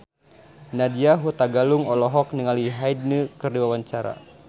Nadya Hutagalung olohok ningali Hyde keur diwawancara